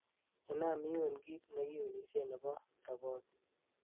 inam iun kiit negiunisien nebo roboti